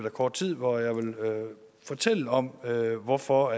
af kort tid hvor jeg vil fortælle om hvorfor